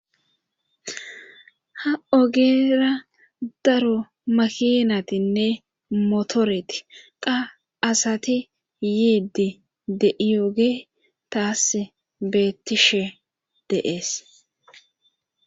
ha ogera daro makiinatinne motoreti qa asati yiidi de7iyoge taasi beettishe de7ees